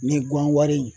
Ni gan wari